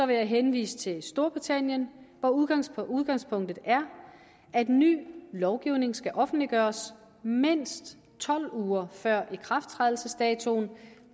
vil jeg henvise til storbritannien hvor udgangspunktet udgangspunktet er at ny lovgivning skal offentliggøres mindst tolv uger før ikrafttrædelsesdatoen